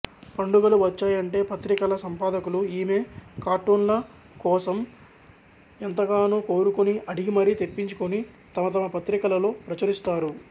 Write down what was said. పండుగలు వచ్చాయంటే పత్రికల సంపాదకులు ఈమె కార్టూన్ల కోసరం ఎంతగానో కోరుకుని అడిగి మరీ తెప్పించుకుని తమతమ పత్రికలలో ప్రచురిస్తారు